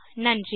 நன்றி